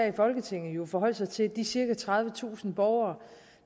i folketinget forholde sig til de cirka tredivetusind borgere